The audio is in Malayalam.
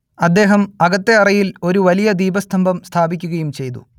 അദ്ദേഹം അകത്തെ അറയിൽ ഒരു വലിയ ദീപസ്തംഭം സ്ഥാപിക്കുകയും ചെയ്തു